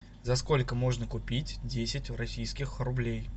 за сколько можно купить десять российских рублей